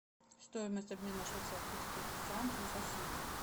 стоимость обмена швейцарских франков в россии